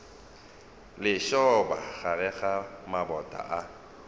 lešoba gare ga maboto a